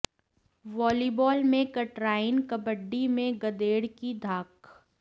volleyball में कटराईं कबड्डी में गदेड़ की धाक